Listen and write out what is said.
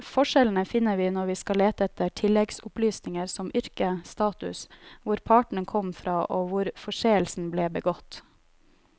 Forskjellene finner vi når vi skal lete etter tilleggsopplysninger som yrke, status, hvor partene kom fra og hvor forseelsen ble begått.